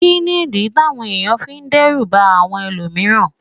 Kí nìdí táwọn èèyàn fi ń dẹ́rù bà àwọn ẹlòmíràn